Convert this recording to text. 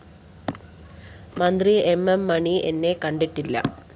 മന്ത്രി M M Mani എന്നെ കണ്ടിട്ടില്ല